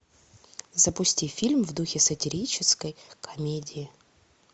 запусти фильм в духе сатирической комедии